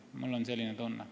Mul on selline tunne.